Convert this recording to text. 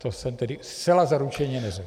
To jsem tedy zcela zaručeně neřekl.